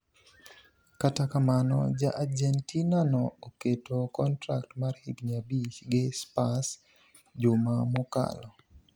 Kata kamano ja Argentina no oketo kontrak mar higni abich gi Spurs juma mokalo.